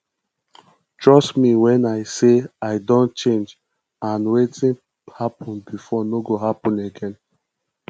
trust me wen i say i don change and wetin happen before no go happen again